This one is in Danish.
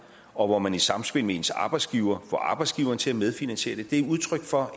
og hvor man i samspil med ens arbejdsgiver får arbejdsgiveren til at medfinansiere det det er udtryk for